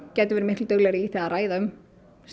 gætum verið miklu duglegri í því að ræða um